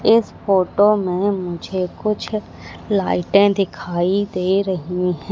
इस फोटो में मुझे कुछ लाइटें दिखाई दे रही हैं।